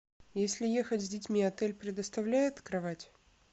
если ехать с детьми отель предоставляет кровать